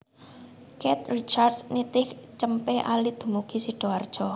Keith Richards nitih cempe alit dumugi Sidoarjo